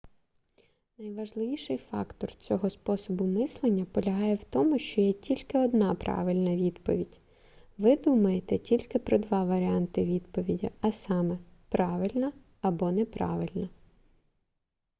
найважливіший фактор цього способу мислення полягає в тому що є тільки одна правильна відповідь ви думаєте тільки про два варіанти відповіді а саме правильна або неправильна